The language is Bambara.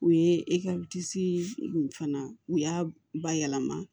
U ye fana u y'a bayɛlɛma